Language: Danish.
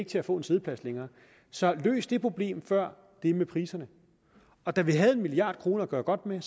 til at få en siddeplads længere så løs det problem før det med priserne da vi havde en milliard kroner at gøre godt med